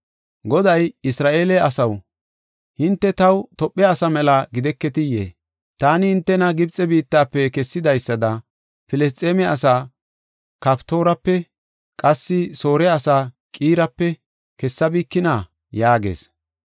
Goday, “Isra7eele asaw, hinte taw Tophe asaa mela gideketiyee? Taani hintena Gibxe biittafe kessidaysada, Filisxeeme asaa Kaftoorape, qassi Soore asaa Qiirape kessabikina?” yaagees.